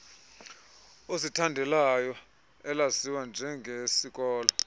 ozithandelayo elaziwa njengesikolo